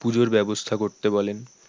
পুজোর ব্যবস্থা করতে বলেন